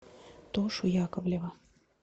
тошу яковлева